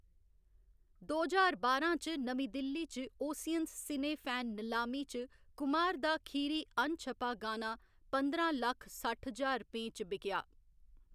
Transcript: दो ज्हार बारां च नमीं दिल्ली च ओसियन्स सिनेफैन नलामी च कुमार दा खीरी अनछपा गाना पंदरां लक्ख सट्ठ ज्हार रपेंऽ च बिकेआ।